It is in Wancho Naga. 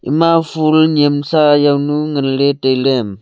ema full nensa jaw nu ngan ley tailey.